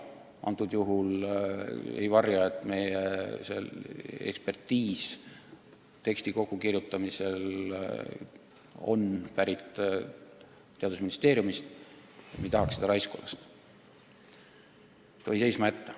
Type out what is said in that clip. Praegusel juhul ma ei varja, et teksti kokkukirjutamisel me kasutasime teadusministeeriumi ekspertiisi, ning me ei tahaks, et see läheb raisku ja eelnõu jääb seisma.